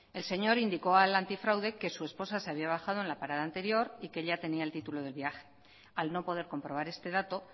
el señor indicó al antifraude que su esposa se había bajado en la parada anterior y que ella tenía el título del viaje al no poder comprobar este dato